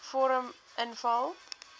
vorm invul